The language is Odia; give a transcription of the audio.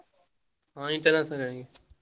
ହଁ ।